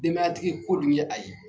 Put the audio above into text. Denbayatigi ko dun ye a ye